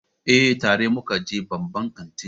Eh, tare muka je babban kantin